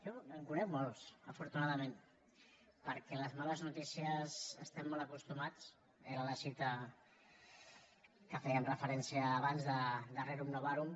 jo en conec molts afortunadament perquè a les males notícies hi estem molt acostumats era la cita a què fèiem referència abans de rerum novarum